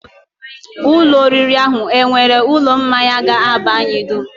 Ụlọ oriri ahụ e nwere ụlọ mmanya ga-aba anyị dum?